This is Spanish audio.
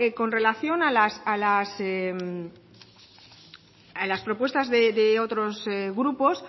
con relación a las propuestas de otros grupos